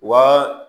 Wa